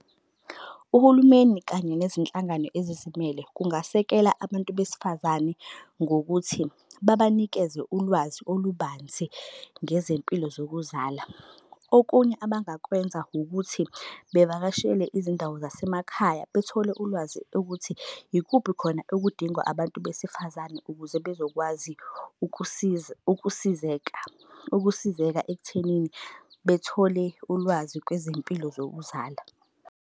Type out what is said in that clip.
Uhulumeni kanye nezinhlangano ezizimele kungasekela abantu besifazane ngokuthi babanikeze ulwazi olubanzi ngezempilo zokuzala. Okunye abangakwenza ukuthi bevakashele izindawo zasemakhaya bethole ulwazi ukuthi, ikuphi khona okudingwa abantu besifazane ukuze bezokwazi ukusizeka, ukusizeka ekuthenini bethole ulwazi kwezempilo zokuzala.